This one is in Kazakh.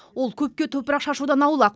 ол көпке топырақ шашудан аулақ